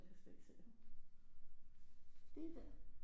Jeg kan slet ikke se ham lige der